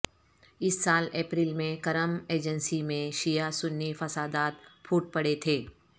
اس سال اپریل میں کرم ایجنسی میں شیعہ سنی فسادات پھوٹ پڑے تھے